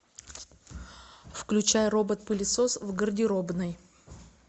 включай робот пылесос в гардеробной